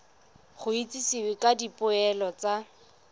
go itsisiwe ka dipoelo tsa